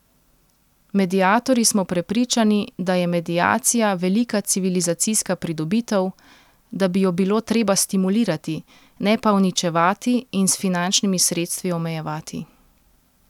Mediatorji smo prepričani, da je mediacija velika civilizacijska pridobitev, da bi jo bilo treba stimulirati, ne pa uničevati in s finančnimi sredstvi omejevati.